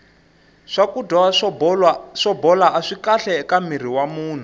swakudya swo bola aswi kahle eka mirhi wa munhu